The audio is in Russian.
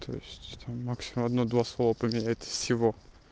то есть это максимум одно-два слова поменять всего